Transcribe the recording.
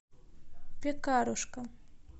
пекарушка